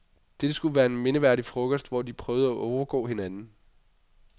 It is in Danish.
Dette skulle være en mindeværdig frokost, hvor de prøvede at overgå hinanden.